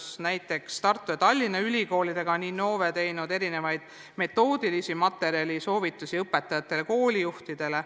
Näiteks on Innove koos Tartu ja Tallinna ülikoolidega koostanud mitmesuguseid metoodilisi materjale ja soovitusi õpetajatele ja koolijuhtidele.